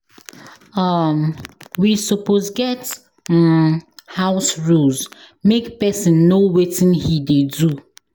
um We suppose get um house rules make person know wetin he dey do